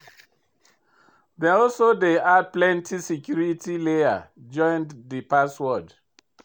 Dem also dey add plenty security layer join de password.